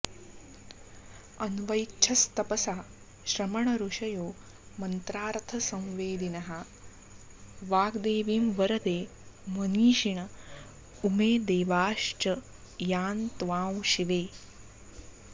अन्वैच्छस्तपसा श्रमणऋषयो मन्त्रार्थसंवेदिनः वाग्देवीं वरदे मनीषिण उमे देवाश्च यां त्वां शिवे